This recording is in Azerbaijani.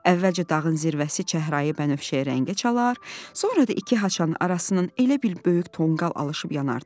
Əvvəlcə dağın zirvəsi çəhrayı-bənövşəyi rəngə çalar, sonra da iki haçanın arasından elə bil böyük tonqal alışıb yanardı.